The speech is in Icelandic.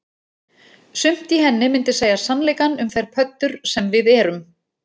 Sumt í henni myndi segja sannleikann um þær pöddur sem við erum